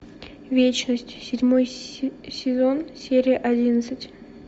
вечность седьмой сезон серия одиннадцать